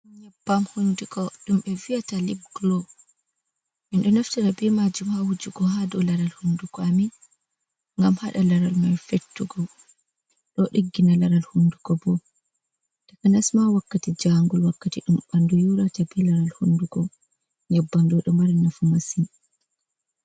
"Nyaɓɓam" hunduko ɗumɓe viyata lib golo min ɗo naftira be majum ha wujugo ha dow laral hunduko amin ngam hada laral man fettugo do diggina laral hunduko bo ta kanasma wakkati jangul wakkati dam ɓanɗu yorata be laral hundugo nyaɓɓam do mari nafu masin.